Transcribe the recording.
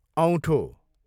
औँठो